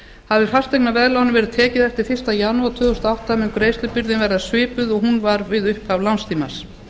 hafi fasteignaveðlán verið tekið eftir fyrsta janúar tvö þúsund og átta mun greiðslubyrðin verða svipuð og hún var við upphaf lánstímans